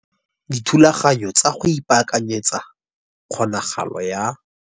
DITHULAGANYO TSA GO IPAAKANYETSA KGONAGALO YA.